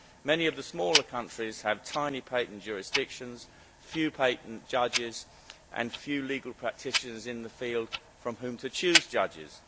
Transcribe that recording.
Many of the smaller countries have tiny patent jurisdictions, few patent judges and few legal practitioners in this field from whom to choose judges.